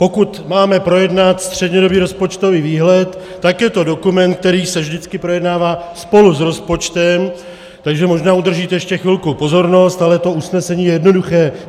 Pokud máme projednat střednědobý rozpočtový výhled, tak je to dokument, který se vždycky projednává spolu s rozpočtem, takže možná udržíte ještě chvilku pozornost, ale to usnesení je jednoduché.